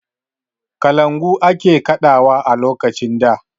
Kalangu ake kaɗawa a lokacin da.